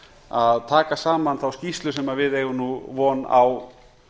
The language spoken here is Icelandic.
að taka saman þá skýrslu sem við eigum nú von á